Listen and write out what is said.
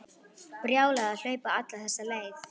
Brjálæði að hlaupa alla þessa leið.